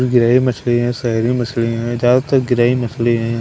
गिरही मछली हैं शहरी मछली हैं ज्यादातर गिरही मछली हैं।